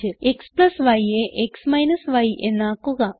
xyയെ x യ് എന്നാക്കുക